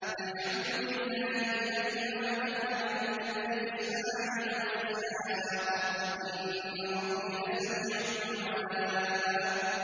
الْحَمْدُ لِلَّهِ الَّذِي وَهَبَ لِي عَلَى الْكِبَرِ إِسْمَاعِيلَ وَإِسْحَاقَ ۚ إِنَّ رَبِّي لَسَمِيعُ الدُّعَاءِ